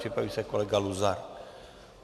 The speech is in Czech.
Připraví se kolega Luzar.